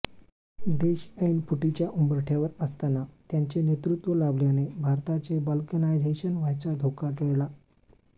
देश ऐन फुटीच्या उंबरठ्यावर असताना त्यांचे नेतृत्व लाभल्याने भारताचे बाल्कनायझेशन व्हायचा धोका टळला